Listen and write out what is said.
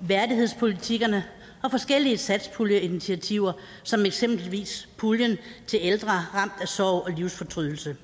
værdighedspolitikkerne og forskellige satspuljeinitiativer som eksempelvis puljen til ældre ramt af sorg og livsfortrydelse